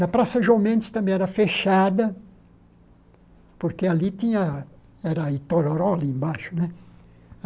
Na Praça João Mendes também era fechada, porque ali tinha, era Itororó ali embaixo, né?